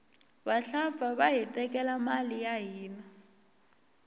vahlampfa vahi tekela mali ya hina